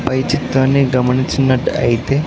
పై చిత్రాన్ని గమనించినట్టు అయితే.